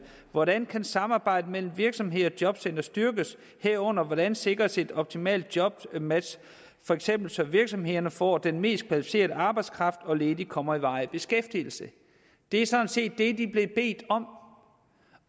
hvordan kan samarbejdet mellem virksomheder og jobcentre styrkes herunder hvordan sikres et optimalt jobmatch fx så virksomhederne får den mest kvalificerede arbejdskraft og ledige kommer i varig beskæftigelse det er sådan set det de er blevet bedt om